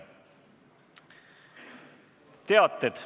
Teated.